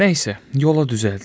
Nəsə, yola düzəldik.